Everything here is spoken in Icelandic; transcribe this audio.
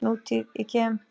Nútíð- ég kem